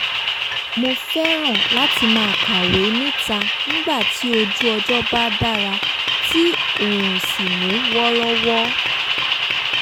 mo fẹ́ràn láti máa kàwé níta nígbà tí ojú ọjọ́ bá dára tí oòrùn sì mú wọ́rọ́wọ́